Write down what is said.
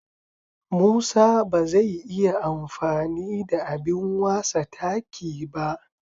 Musa ba zai iya amfani da abin wasa taki ba.